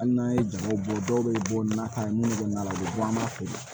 Hali n'an ye jago bɔ dɔw bɛ bɔ nata ye minnu bɛ na la u bɛ bɔ an b'a feere